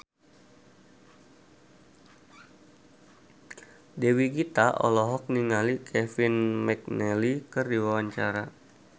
Dewi Gita olohok ningali Kevin McNally keur diwawancara